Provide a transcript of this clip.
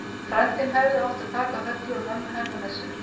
Frændinn hefði átt að taka Höllu og mömmu hennar með sér.